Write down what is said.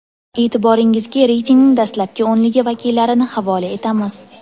E’tiboringizga reytingning dastlabki o‘nligi vakillarini havola etamiz.